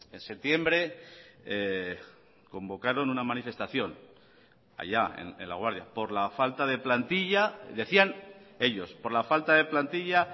en septiembre convocaron una manifestación allá en laguardia por la falta de plantilla decían ellos por la falta de plantilla